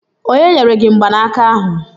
Onye nyere gi mgbanaka ahụ?